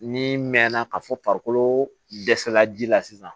Ni mɛnna ka fɔ farikolo dɛsɛla ji la sisan